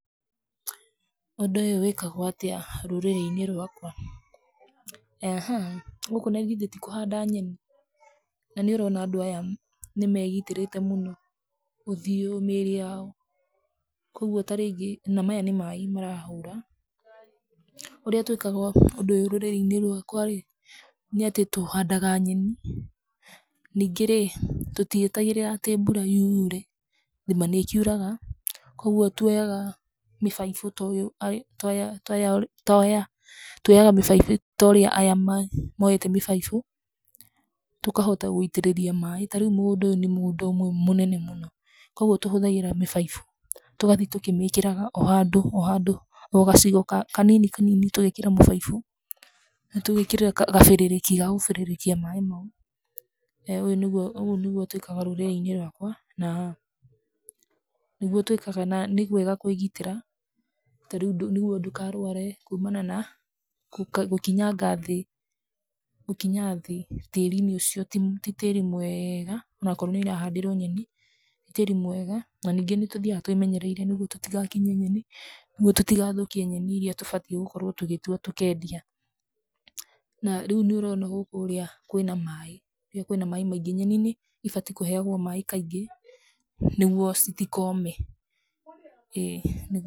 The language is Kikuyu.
Ũndũ ũyũ wĩkagwo atĩa rũrĩrĩ-inĩ rwakwa? Gũkũ nagithe ti kũhanda nyeni, nanĩũrona andũ aya nĩmegitĩrĩte mũno, ũthiũ, mĩrĩ yao, koguo tarĩngĩ na maya nĩ maĩ marahũra, ũrĩa twĩkaga ũndũ ũyũ rũrĩrĩ-inĩ rwakwa ĩ, nĩatĩ tũhandaga nyeni, ningĩ rĩ, tũtietagĩrĩra atĩ mbura yure, thima nĩkiuraga, koguo tuoyaga mĩbaibũ tũ, tũoya tũoya tuoya, tuoyaga mĩbaibũ torĩa aya me, moete mĩbaibũ, tũkahota gũitĩrĩria maĩ, tarĩu mũgũnda ũyũ nĩ mũgũnda ũmwe mũnene mũno, koguo tũhũthagĩra mĩbaibũ, tũgathi tũkĩmĩkĩraga o handũ, o handũ, o gacigo ka kanini kanini tũ mĩbaibũ, na tũgekĩrĩrwo gabĩrĩrĩki ga gũbĩrĩrĩkia maĩ mau, uguo nĩguo twĩkaga rũrĩrĩ-inĩ rwakwa, na nĩguo twíkaga na nĩ wega kwĩgitĩra, tarĩu nĩguo ndũkarware kumana na, kũ gũkinyanga thĩ, gũkinya thĩ, tĩri-inĩ ũcio ti ti tĩri mwega, onakorwo nĩũrahandĩrwo nyeni, ti tĩri mwega, na ningĩ nĩtũthiaga twĩmenyereire nĩguo tũtigakinye nyeni, nĩguo tũtigathũkie nyeni iria tũbatiĩ gũkorwo tũgĩtua tũkĩendia, na rĩu nĩũrona gũkũ ũrĩa, kwĩna maĩ, kwĩna maĩ maingĩ nyeni nĩbatiĩ kũheagwo maĩ kaingĩ, nĩguo citikome, ĩ nĩguo.